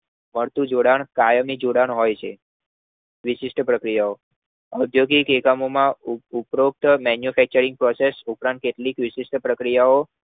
સરખું જોડાણ કાયમી જોડાણ હોય છે વિશિષ્ઠ પ્રક્રિયાઓ ઔદ્યોગિક એકમમોમાં ઉત્તરોત્તર manufacturing process ઉપરાંત કેટલીક વિશિષ્ઠ પ્રક્રિયાઓ